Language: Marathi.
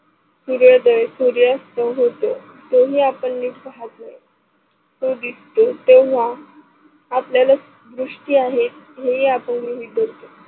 सुर्यदय सुर्यस्त होतो तोही आपन निठ पाहत नाही तो दिसतो तेव्हा आपल्याला दृष्टी आहे, हेही आपन गृहीत धरतो.